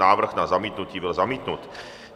Návrh na zamítnutí byl zamítnut.